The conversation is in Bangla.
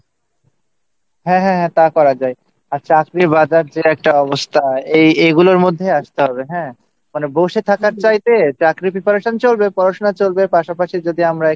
হ্যাঁ হ্যাঁ তা করা যায় আচ্ছা আজকে বাজারদরের যা অবস্থা এগুলোর মধ্যে আসতে হবে হ্যাঁ মানে বসে থাকার চাইতে চাকরির preparation চলবে পড়াশোনা চলবে পাশাপাশি যদি আমরা